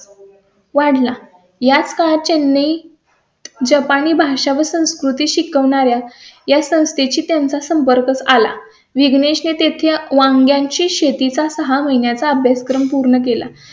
याचका चेन्नई, जपानी भाषा व संस्कृती शिकवणार् या या संस्थेची त्यांचा संपर्क आला. विघ्नेश ने तेथे वांग्यांची शेती चा सहा महिन्यांचा अभ्यासक्रम पूर्ण केला.